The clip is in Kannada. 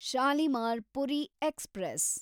ಶಾಲಿಮಾರ್ ಪುರಿ ಎಕ್ಸ್‌ಪ್ರೆಸ್